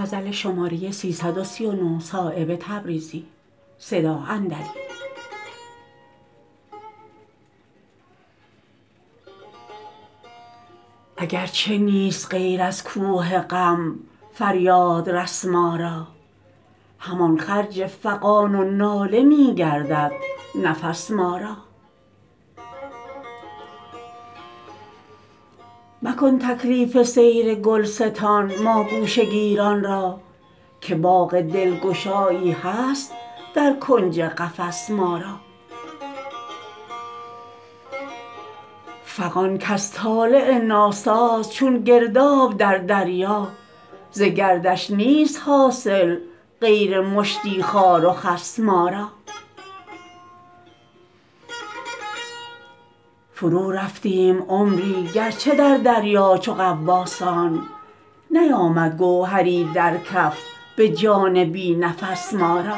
اگرچه نیست غیر از کوه غم فریادرس ما را همان خرج فغان و ناله می گردد نفس ما را مکن تکلیف سیر گلستان ما گوشه گیران را که باغ دلگشایی هست در کنج قفس ما را فغان کز طالع ناساز چون گرداب در دریا ز گردش نیست حاصل غیر مشتی خار و خس ما را فرو رفتیم عمری گرچه در دریا چو غواصان نیامد گوهری در کف به جان بی نفس ما را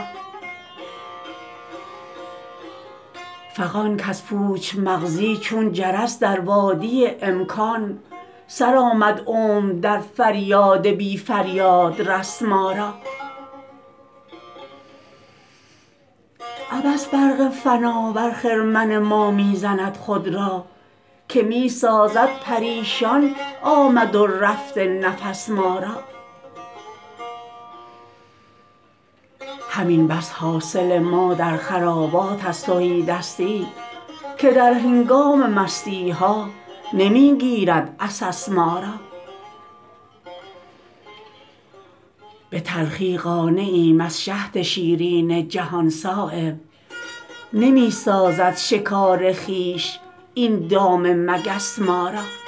فغان کز پوچ مغزی چون جرس در وادی امکان سر آمد عمر در فریاد بی فریادرس ما را عبث برق فنا بر خرمن ما می زند خود را که می سازد پریشان آمد و رفت نفس ما را همین بس حاصل ما در خرابات از تهیدستی که در هنگام مستی ها نمی گیرد عسس ما را به تلخی قانعیم از شهد شیرین جهان صایب نمی سازد شکار خویش این دام مگس ما را